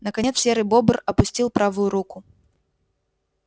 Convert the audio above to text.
наконец серый бобр опустил правую руку